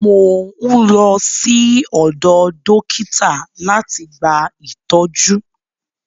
Mò ń lọ sí ọ̀dọ dọ́kítà láti gba ìtọ́jú.